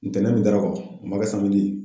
Ntɛnɛn min dara o kan o man kɛ ye.